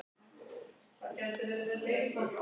Allt skipulag er samþykkt